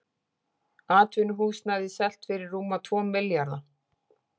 Atvinnuhúsnæði selt fyrir rúma tvo milljarða